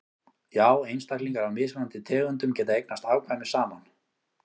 já einstaklingar af mismunandi tegundum geta eignast afkvæmi saman